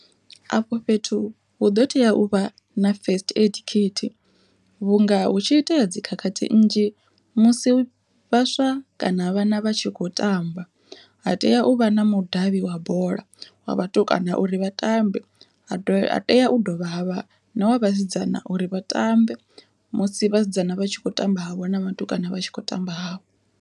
Afho fhethu hu ḓo tea u vha na first aid khithi vhunga hu tshi itea dzikhakhathi nnzhi musi vhaswa kana vhana vha tshi kho tamba. Ha tea u vha na mudavhi wa bola wa vhatukana uri vha tambe ha tea u dovha havha na wa vhasidzana uri vha tambe, musi vhasidzana vha tshi kho tamba havho na vhatukana vha tshi khou tamba havho.